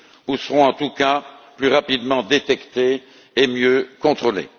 ou seront en tout cas plus rapidement détectés et mieux contrôlés.